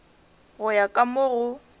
go ya ka mo go